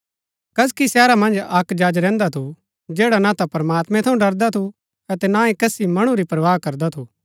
कसकी शहरा मन्ज अक्क जज रैहन्दा थू जैडा न ता प्रमात्मैं थऊँ डरदा थू अतै न ही कसी मणु री परवाह करदा थू